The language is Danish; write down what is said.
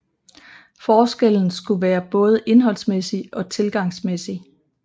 Forskellen skulle være både indholdsmæssig og tilgangsmæssig